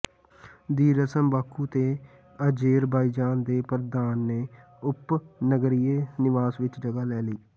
ਦੀ ਰਸਮ ਬਾਕੂ ਤੇ ਆਜ਼ੇਰਬਾਈਜ਼ਾਨ ਦੇ ਪ੍ਰਧਾਨ ਦੇ ਉਪਨਗਰੀਏ ਨਿਵਾਸ ਵਿਚ ਜਗ੍ਹਾ ਲੈ ਲਈ